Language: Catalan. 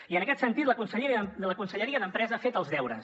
i en aquest sentit la conselleria d’empresa ha fet els deures